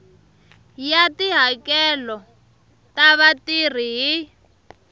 ya tihakelo ta vatirhi hi